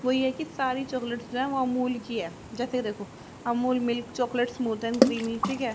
वो ये है की सारी चॉकलेट जो है वो अमूल की है जैसे देखो Amul milk chocolate smooth and creamy ठीक है।